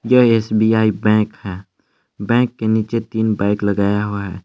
यह S B I bank है bank के नीचे तीन बाइक लगाया हुआ है।